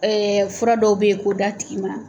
fura dɔw be ye k'o d'a tigi ma